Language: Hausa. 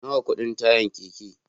Nawa kudin tayan keke